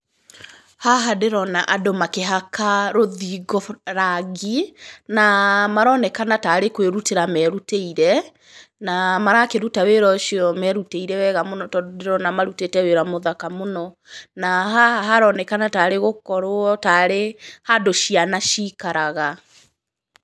Haha ndĩrona andũ makĩhaka rũthingo rangi, na maronekana taarĩ kũĩrutĩra merũtĩire, na marakĩruta wĩra ũcio merũtĩire wega mũno, tondũ ndĩrona marũtĩte wĩra mũthaka mũno, na haha haronekana taarĩ gũkorwo taarĩ handũ ciana ciikaraga.